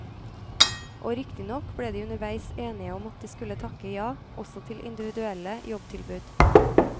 Og riktignok ble de underveis enige om at de skulle takke ja, også til individuelle jobbtilbud.